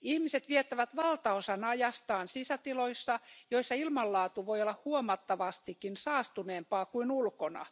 Ihmiset viettävät valtaosan ajastaan sisätiloissa, joissa ilmanlaatu voi olla huomattavastikin saastuneempaa kuin ulkona.